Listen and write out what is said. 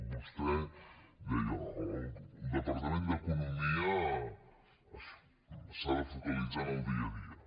vostè deia el departament d’economia s’ha de fo·calitzar en el dia a dia